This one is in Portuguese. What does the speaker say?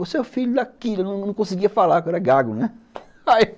Você é o filho daquilo, eu não conseguia falar, porque eu era gago, né?